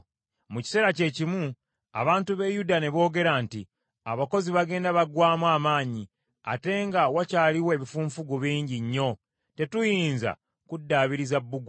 Mu kiseera kyekimu abantu b’e Yuda ne boogera nti, “Abakozi bagenda baggwaamu amaanyi, ate nga wakyaliwo ebifunfugu bingi nnyo, tetuyinza kuddaabiriza bbugwe.”